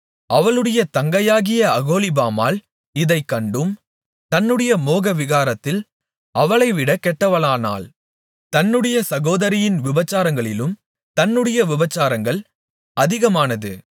அவளுடைய தங்கையாகிய அகோலிபாள் இதைக் கண்டும் தன்னுடைய மோகவிகாரத்தில் அவளைவிட கெட்டவளானாள் தன்னுடைய சகோதரியின் விபசாரங்களிலும் தன்னுடைய விபசாரங்கள் அதிகமானது